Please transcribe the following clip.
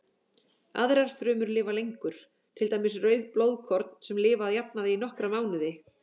Aðrar frumur lifa lengur, til dæmis rauð blóðkorn sem lifa að jafnaði í nokkra mánuði.